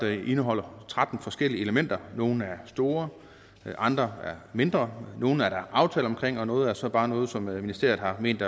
det indeholder tretten forskellige elementer nogle er store andre er mindre nogle er der aftaler omkring og noget er så bare noget som ministeriet har ment